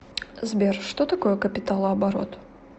сбер что такое капиталооборот